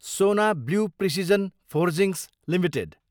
सोना blue precision forgings Ltd